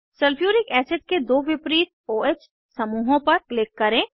sulphuric acid के दो विपरीत o ह समूहों पर क्लिक करें